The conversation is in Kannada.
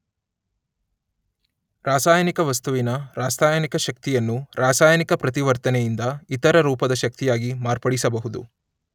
ರಾಸಾಯನಿಕ ವಸ್ತುವಿನ ರಾಸಾಯನಿಕ ಶಕ್ತಿಯನ್ನು ರಾಸಾಯನಿಕ ಪ್ರತಿವರ್ತನೆಯಿಂದ ಇತರ ರೂಪದ ಶಕ್ತಿಯಾಗಿ ಮಾರ್ಪಡಿಸಬಹುದು.